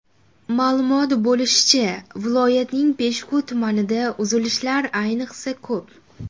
Ma’lum bo‘lishicha, viloyatning Peshku tumanida uzilishlar ayniqsa ko‘p.